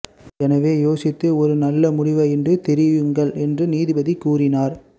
எனவே யோசித்து ஒரு நல்ல முடிவை இன்று தெரிவியுங்கள் என்றும் நீதிபதி கூறினார்